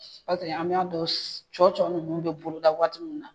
Paseke an bɛ a dɔn cɔ cɔ ninnu bɛ boloda waati min na